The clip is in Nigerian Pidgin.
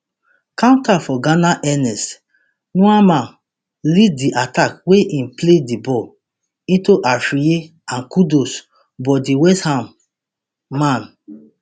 counter for ghana ernest nuamah lead di attack wey im play di ball into afriyie and kudus but di westham man